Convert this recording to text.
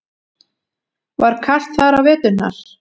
Var kalt þar á veturna?